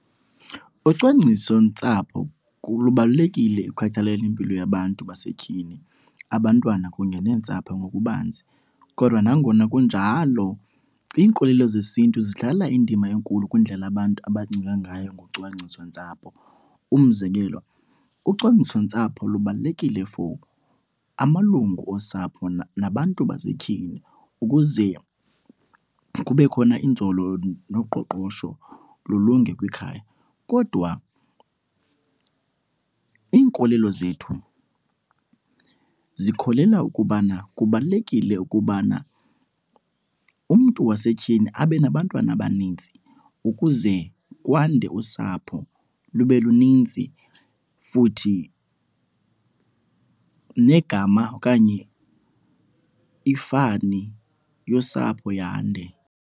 Ucwangcisontsapho lubalulekile ekukhathaleleni impilo yabantu basetyhini, abantwana kunye neentsapho ngokubanzi. Kodwa nangona kunjalo iinkolelo zesintu zidlala indima enkulu kwindlela abantu abacinga ngayo ngocwangcisontsapho. Umzekelo ucwangcisontsapho lubalulekile for amalungu osapho nabantu basetyhini ukuze kube khona inzolo, noqoqosho lulunge kwikhaya. Kodwa iinkolelo zethu zikholela ukubana kubalulekile ukubana umntu wasetyhini abe nabantwana abanintsi ukuze kwande usapho, lube luninzi futhi negama okanye ifani yosapho yande.